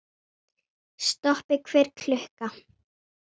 Stoppi hver klukka!